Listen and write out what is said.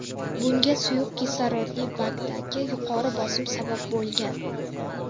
Bunga suyuq kislorodli bakdagi yuqori bosim sabab bo‘lgan.